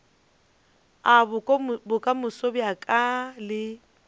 a bokamoso bja ka le